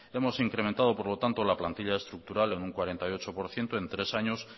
hemos incrementado por lo tanto la plantilla estructural en un cuarenta y ocho por ciento en tres años